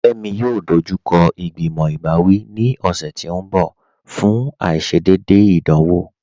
Fẹmi yóò dọjúkọ igbimọ̀ ibàwí ní ọṣẹ̀ tì n bọ̀ fún aìṣédéédé ìdánwọ̀.